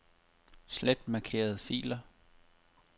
Slet markerede filer.